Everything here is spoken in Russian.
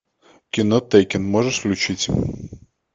кино теккен можешь включить